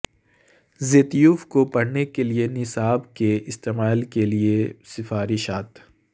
زیتیوف کو پڑھنے کے لئے نصاب کے استعمال کے لئے سفارشات